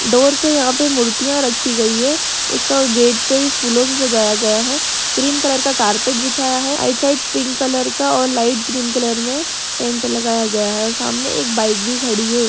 Door पे यहां पे मूर्तियां रखी गई है उसका गेट पर फूलों से सजाया गया है ग्रीन कलर का कारपेट बिछाया है राइट साइड पिंक कलर का और लाइट ग्रीन कलर में टेंट लगाया गया है और सामने एक बाइक भी खड़ी है।